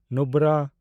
ᱱᱩᱵᱨᱟ